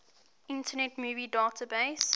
internet movie database